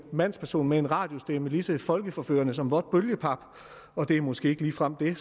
mandsperson med en radiostemme lige så folkeforførende som vådt bølgepap og det er måske ikke ligefrem det